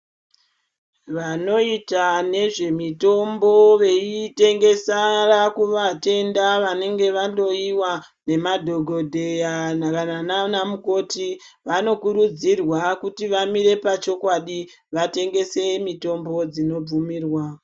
Vanoita nezvemitombo veitengesa kuvatenda vanenge vahloyiwa nemadhogodheya kana naana mukoti vanokurudzirwa kuti vamire pachokwadi, vatengese mitombo dzinobvumirwa.